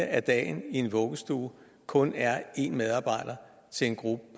af dagen i en vuggestue kun er én medarbejder til en gruppe